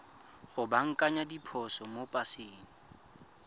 go baakanya diphoso mo paseng